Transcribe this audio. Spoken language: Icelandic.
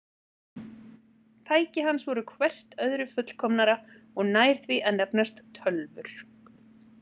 Tæki hans voru hvert öðru fullkomnara og nær því að nefnast tölvur.